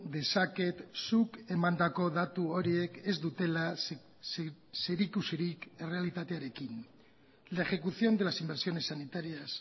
dezaket zuk emandako datu horiek ez dutela zerikusirik errealitatearekin la ejecución de las inversiones sanitarias